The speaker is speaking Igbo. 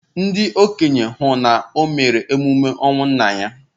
Ndị okenye hụ na o mere emume ọnwụ nna ya.